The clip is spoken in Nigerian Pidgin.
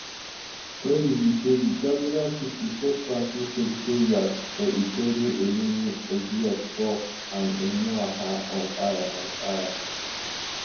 tori be say di jaguda pipo set council secretariats for ikwerre eleme obioakpor and emohua on fire on fire